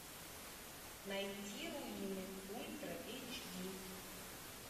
найти руины ультра эйч ди